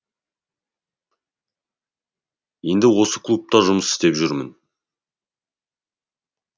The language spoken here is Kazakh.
енді осы клубта жұмыс істеп жүрмін